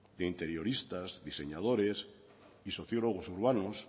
de interioristas diseñadores y sociólogos urbanos